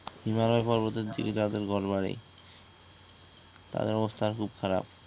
হিমালয় পর্বতের দিকে যাদের ঘরবাড়ি তাদের অবস্থা খুব খারাপ